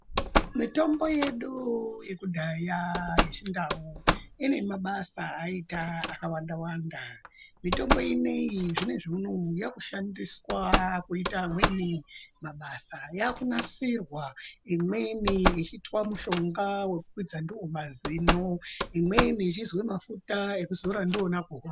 Mitombo yedu yekudhaya yechindau inemabasa ayaiita akawanda wanda. Mitombo ino iyi zvinozvi unowu yakushandiswa kuita amweni mabasa, yakunasirwa, imweni ichiitwa mushonga wekukwidza ndiwo mazino, imweni mafuta ekuzora ndiona kuhope.